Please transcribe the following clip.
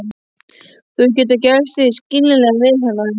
Þú hefur getað gert þig skiljanlegan við hana?